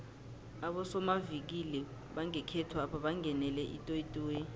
abosomavikili bangekhethwapha bangenele itoyitoyi